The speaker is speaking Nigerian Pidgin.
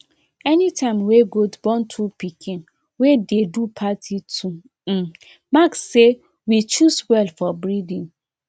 anytime wey goat born two pikin wey dey do party to um mark say we choose well for breeding